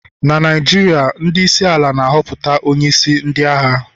na Naijiria, ndị isi ala na-ahọpụta onye isi ndị agha